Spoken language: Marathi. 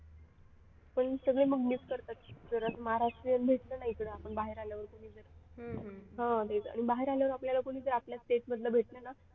पण सगळे मग miss करतात जर असं महाराष्ट्रीयन भेटलं ना इकडे आपण बाहेर आल्यावरती आणि बाहेर आल्यावर आपल्याला कुणीतरी आपल्या state मधलं भेटलं ना